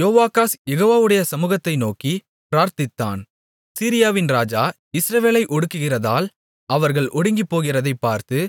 யோவாகாஸ் யெகோவாவுடைய சமுகத்தை நோக்கிப் பிரார்த்தித்தான் சீரியாவின் ராஜா இஸ்ரவேலை ஒடுக்குகிறதால் அவர்கள் ஒடுங்கிப்போகிறதைப் பார்த்து